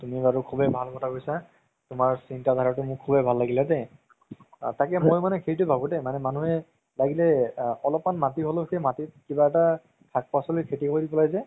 তুমি বৰু খুবেই ভাল কথা কৈছা তুমাৰ সিন্তা ধাৰাতো মোৰ শুবেই ভাল লাগিলে দেই তাকেই মানে মই মানে সেইটোৱে ভাবো দেই মানে মানুহে লাগিলে অলপমান মাতি হ'লেও সেই মাতি কিবা এটা শাক পাচলি খেতি কৰি পেলাই যে